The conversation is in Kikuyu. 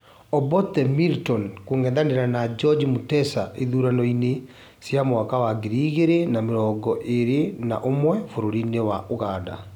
Obote Milton kũng'ethanĩra na George Mutesa ithurano-iĩn cia mwaka wa ngiri igĩrĩ na mĩrongo ĩrĩ na ũmwe bũrũri-inĩ wa Ũganda